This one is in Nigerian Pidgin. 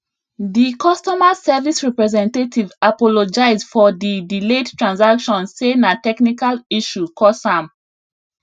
di customer service representative apologize for di delayed transaction sey na technical issue cause am